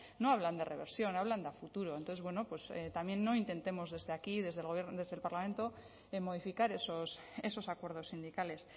no hablan de reversión hablan de a futuro entonces bueno pues también intentemos desde aquí desde el parlamento modificar esos acuerdos sindicales